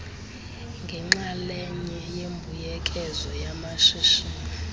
ngenxalenye yembuyekezo yamashishini